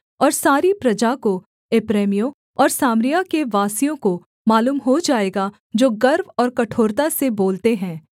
और सारी प्रजा को एप्रैमियों और सामरिया के वासियों को मालूम हो जाएगा जो गर्व और कठोरता से बोलते हैं